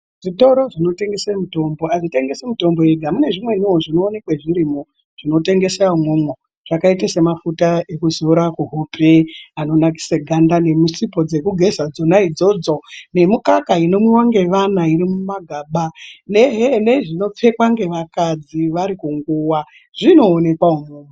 Zvitoro zvinotengese mutombo, hazvitengesi mitombo yega. Mune zvimweniwo zvinowanikwa zvirimo, zvinotengweswa umomo, zvakaita semafuta ekuzora kuhope, anonakisa ganda nesipo dzekugeza dzona idzodzo nemikaka inomwiwa ngevana irimumagaba, nezvinopfekwa ngevakadzi vari kunguwa zvinoonekwa imomo.